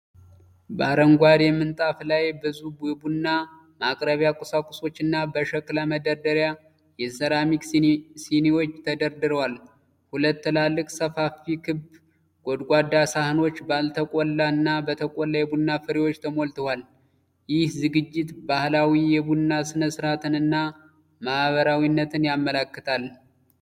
በአረንጓዴ ምንጣፍ ላይ ብዙ የቡና ማቅረቢያ ቁሳቁሶችና በሸክላ መደርደሪያ የሴራሚክ ሲኒዎች ተደርድረዋል። ሁለት ትላልቅ ሰፋፊ ክብ ጎድጓዳ ሳህኖች ባልተቆላ እና በተቆላ የቡና ፍሬዎች ተሞልተዋል። ይህ ዝግጅት ባህላዊ የቡና ሥነ-ሥርዓትንና ማኅበራዊነትን ያመለክታል።